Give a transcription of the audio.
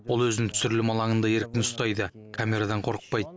ол өзін түсірілім алаңында еркін ұстайды камерадан қорықпайды